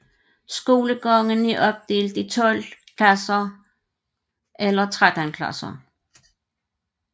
Skolegangen er opdelt i 12 eller 13 klasser